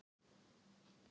Skyggni á heiðinni sé ágætt